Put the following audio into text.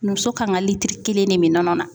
Muso kan ka litiri kelen de mi nɔnɔ na.